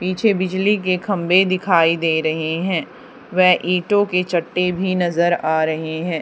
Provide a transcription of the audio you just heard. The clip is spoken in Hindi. पीछे बिजली के खंभे दिखाई दे रहे है वे ईंटों के चट्टे भी नजर आ रहे है।